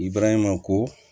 I baraɲuman ko